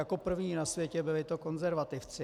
Jako první na světě to byli konzervativci.